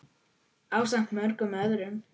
ásamt mörgum öðrum.